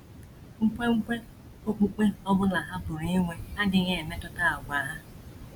Nkwenkwe okpukpe ọ bụla ha pụrụ inwe adịghị emetụta àgwà ha.